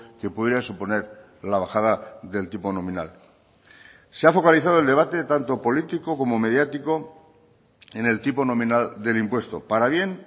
que pudiera suponer la bajada del tipo nominal se ha focalizado el debate tanto político como mediático en el tipo nominal del impuesto para bien